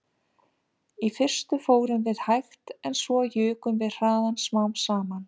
Í fyrstu fórum við hægt en svo jukum við hraðann smám saman